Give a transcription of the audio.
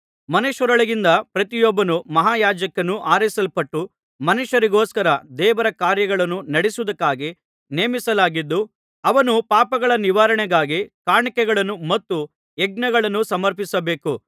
ಮನುಷ್ಯರೊಳಗಿಂದ ಪ್ರತಿಯೊಬ್ಬ ಮಹಾಯಾಜಕನೂ ಆರಿಸಲ್ಪಟ್ಟು ಮನುಷ್ಯರಿಗೋಸ್ಕರ ದೇವರ ಕಾರ್ಯಗಳನ್ನು ನಡೆಸುವುದಕ್ಕಾಗಿ ನೇಮಿಸಲಾಗಿದ್ದು ಅವನು ಪಾಪಗಳ ನಿವಾರಣೆಗಾಗಿ ಕಾಣಿಕೆಗಳನ್ನು ಮತ್ತು ಯಜ್ಞಗಳನ್ನು ಸಮರ್ಪಿಸಬೇಕು